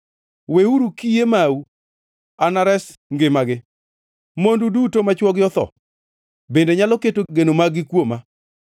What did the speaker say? Weuru kiye mau; anares ngimagi. Mondu duto ma chwogi otho, bende nyalo keto geno mag-gi kuoma.”